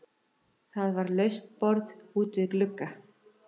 Það var laust borð út við glugga.